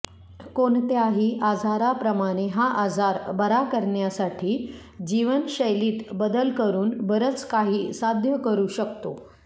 कोणत्याही आजाराप्रमाणे हा आजार बरा करण्यासाठी जीवनशैलीत बदल करून बरंच काही साध्य करू शकतो